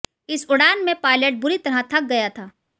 इस उड़ान में पायलट बुरी तरह थक गया था